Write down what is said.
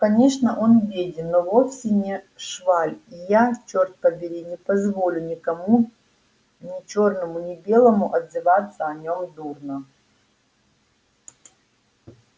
конечно он беден но вовсе не шваль и я черт побери не позволю никому ни чёрному ни белому отзываться о нём дурно